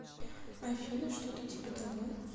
афина что то типа того